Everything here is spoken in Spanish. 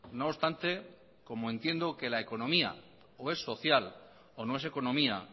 no obstante como entiendo que la economía o es social o no es economía